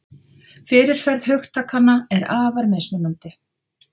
Fyrirferð hugtakanna er afar mismunandi.